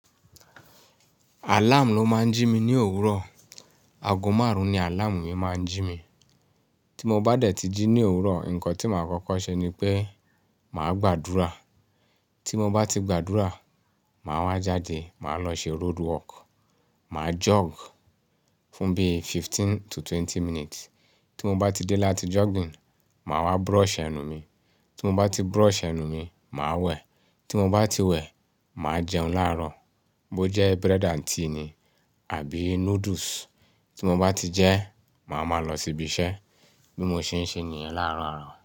Alarm ló máa ń jí mi ní òwúrọ̀. Aago márùn-ún ni alarm mi máa ń jí mi. Tí mo bá dẹ̀ ti jí ní òwúrọ̀, nǹkan tí màá kọ́kọ́ ṣe ni pé màá gbàdúrà. Tí mo bá ti gbàdúrà, màá wá jáde, màá lọ ṣe roadwork, màá jog fún bí fifteen to twenty minutes. Tí mo bá ti dé láti jogging, màá wá brush ẹnu mi. Tí mo bá ti brush ẹnu mi, màá wẹ̀. Tí mo bá ti wẹ̀, màá jẹun láàárọ̀. Bó jẹ́ bread and tea ni àbí noodles. Tí mo bá ti jẹ, màá máa lọ síbi iṣẹ́ bí mo ṣe ń ṣe nìyẹn láàárọ̀ àárọ̀.